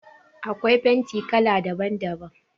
Akwai fenti kala daban daban.